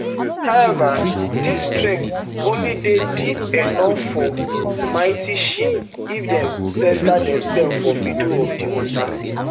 however dis strait only dey deep enof for mighty ships if dem centre demsef for middle of di water